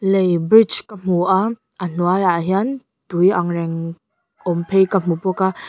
lei bridge ka hmu a a hnuaiah hian tui ang reng awm phei ka hmu bawk a.